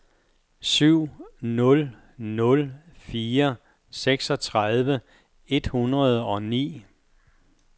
syv nul nul fire seksogtredive et hundrede og ni